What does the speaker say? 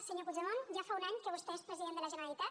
senyor puigdemont ja fa un any que vostè és president de la generalitat